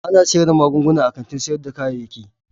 Ana iya siyar da magunguna a kantin sayar da kayayyaki.